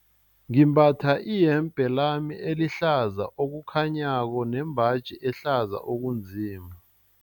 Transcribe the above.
Ngimbatha iyembe lami elihlaza okukhanyako nembaji ehlaza okunzima.